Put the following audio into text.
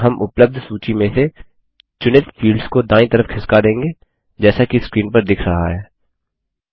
और हम उपलब्ध सूची में से चुनित फील्ड्स को दायीं तरफ खिसका देंगे जैसा कि स्क्रीन पर दिख रहा है